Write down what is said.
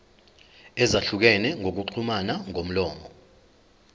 ezahlukene zokuxhumana ngomlomo